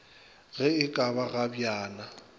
ge e ka ba kgabjana